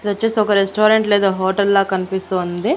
ఇది వచ్చేసి ఒక రెస్టారెంట్ లేదా హోటల్ లా కనిపిస్తుంది.